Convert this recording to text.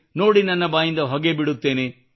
ನೋಡಿ ನನ್ನ ಬಾಯಿಂದ ಹೊಗೆ ಬಿಡುತ್ತೇನೆ